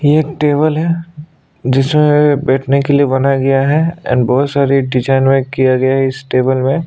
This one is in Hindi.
ये एक टेबल है जिसमें बैठने के लिए बनाया गया है एंड बहोत सारी डिजाईन किया गया है इस टेबल मे।